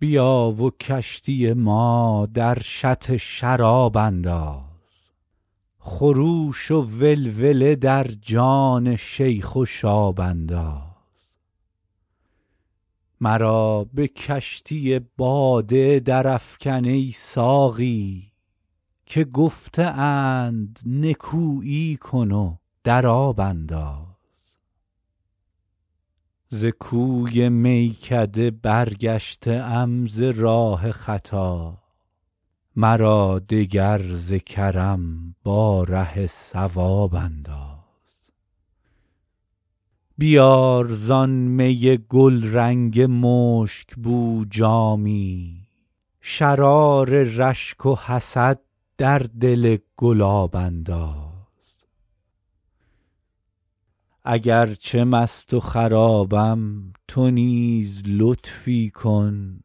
بیا و کشتی ما در شط شراب انداز خروش و ولوله در جان شیخ و شاب انداز مرا به کشتی باده درافکن ای ساقی که گفته اند نکویی کن و در آب انداز ز کوی میکده برگشته ام ز راه خطا مرا دگر ز کرم با ره صواب انداز بیار زآن می گلرنگ مشک بو جامی شرار رشک و حسد در دل گلاب انداز اگر چه مست و خرابم تو نیز لطفی کن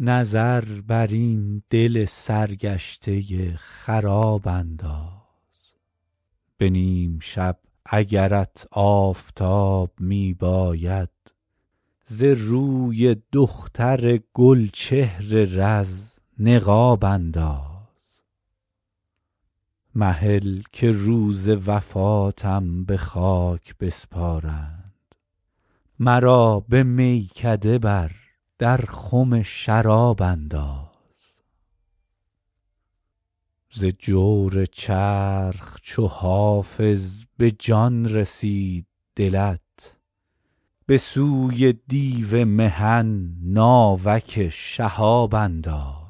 نظر بر این دل سرگشته خراب انداز به نیم شب اگرت آفتاب می باید ز روی دختر گل چهر رز نقاب انداز مهل که روز وفاتم به خاک بسپارند مرا به میکده بر در خم شراب انداز ز جور چرخ چو حافظ به جان رسید دلت به سوی دیو محن ناوک شهاب انداز